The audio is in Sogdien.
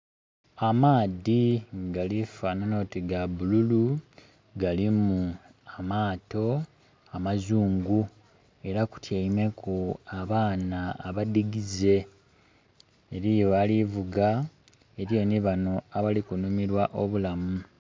Amaadhi gali fanana oti ga bululu, galimu amaato amazungu era kutyeimeku abaana abadigize eriyo alikuvuga , eriyo ni bano abali ku nhumirwa obulamu.